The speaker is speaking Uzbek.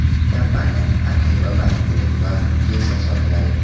Kompaniyaning arxivi va intellektual mulki esa sotiladi.